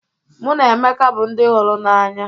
Mụ na Emeka bụ ndị hụrụ n'anya